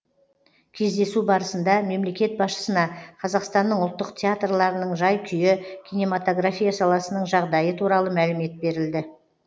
кездесу барысында мемлекет басшысына қазақстанның ұлттық театрларының жай күйі кинематография саласының жағдайы туралы мәлімет берілді